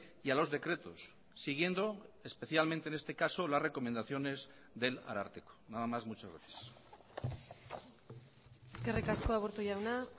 y a los decretos siguiendo especialmente en este caso las recomendaciones del ararteko nada más muchas gracias eskerrik asko aburto jauna